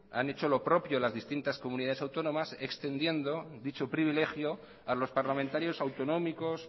han hecho lo propio distintas comunidades autónomas extendiendo dicho privilegio a los parlamentarios autonómicos